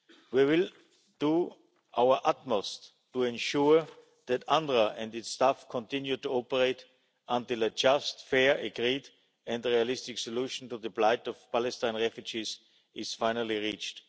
We will do our utmost to ensure that UNRWA and its staff continue to operate until a just, fair, agreed and realistic solution to the plight of Palestinian refugees is finally reached.